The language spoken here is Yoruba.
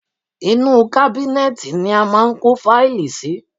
Inú u kábínẹ́ẹ̀tì ni a máa ń kó fáìlì sí.